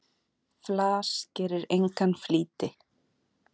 Flas gerir engan flýti.